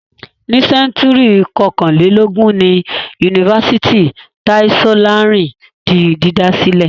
Ní sẹ́ńtúrì kọkànlélógún ni Yunifásítì Tai Solarin di dídá sílẹ̀.